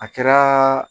A kɛra